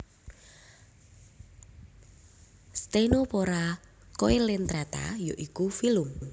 Ctenophora Coelentrata yaiku filum